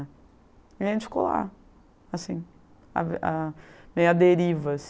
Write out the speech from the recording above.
E a gente ficou lá, assim, a a meio à derivas.